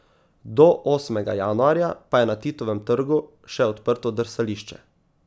Do osmega januarja pa je na Titovem trgu še odprto drsališče.